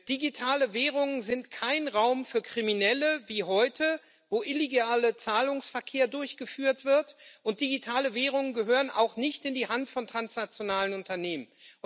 Digitale Währungen sind kein Raum für Kriminelle wie heute, wo illegaler Zahlungsverkehr durchgeführt wird, und digitale Währungen gehören auch nicht in die Hand von transnationalen Unternehmen.